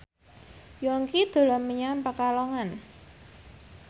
Yongki dolan menyang Pekalongan